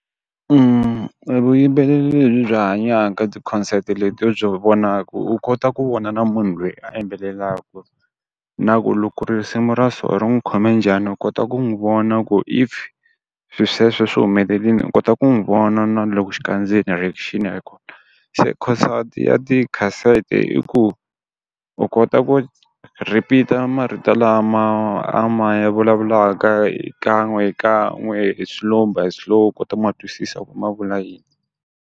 Vuyimbeleri lebyi hanyaka ti-concert leti u byi vonaku u kota ku vona na munhu loyi a yimbelelaku, na ku loko risimu ra so ri n'wu khome njhani u kota ku n'wi vona ku if swi sweswo swi humelelini u kota ku n'wi vona na loko xikandzeni reaction , se khonsati ya ti khasete i ku u kota ku repeat-a marito lama a ma ya vulavulaka hi kan'we hi kan'we hi slow by slow u kota ku ma twisisa ku ma vula yini.